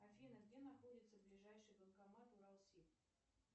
афина где находится ближайший банкомат уралсиб